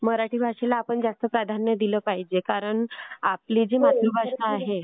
मराठी भाषेला आपण जास्त प्राधान्य दिलं पाहिजे. कारण आपली जी मातृभाषा आहे